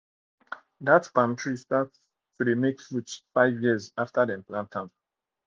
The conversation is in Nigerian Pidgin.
that palm tree start tree start make fruit five years after dem plant am